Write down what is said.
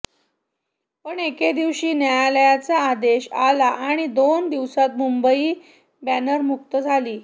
पण एके दिवशी न्यायालयाचा आदेश आला आणि दोन दिवसांत मुंबई बॅनरमुक्त झाली